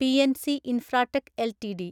PNC Infratech LTD